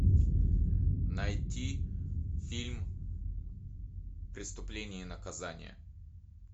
найти фильм преступление и наказание